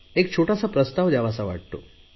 एक छोटा प्रस्ताव द्यावासा वाटतो